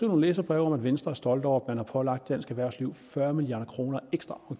nogle læserbreve om at venstre er stolte over at man har pålagt dansk erhvervsliv fyrre milliard kroner ekstra